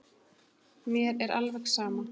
Mér er alveg sama